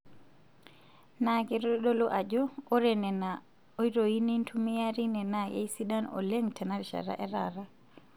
Naa keitodolu Ajo ore Nena oitoyi nintumia teine naa keisidan oleng tenarishata etaata.